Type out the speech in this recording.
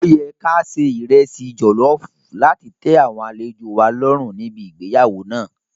Ó yẹ ká ṣe ìresì jọ̀lọ́ọ̀fù láti tẹ àwọn àlejòo wa lọ́rùn níbi igbéyàwó náà.